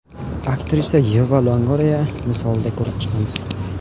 Aktrisa Yeva Longoriya misolida ko‘rib chiqamiz .